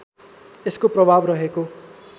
यसको प्रभाव रहेको